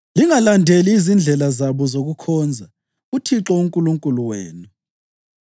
Lingalandeli izindlela zabo zokukhonza uThixo uNkulunkulu wenu.